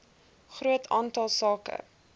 groot aantal sake